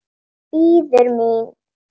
Bíður mín.